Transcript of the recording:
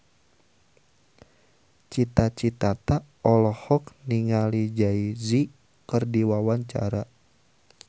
Cita Citata olohok ningali Jay Z keur diwawancara